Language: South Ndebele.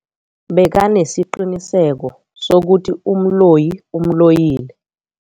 Bekanesiqiniseko sokuthi umloyi umloyile.